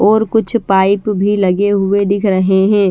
और कुछ पाइप भी लगे हुए दिख रहे है।